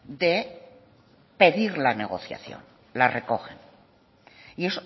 de pedir la negociación la recogen y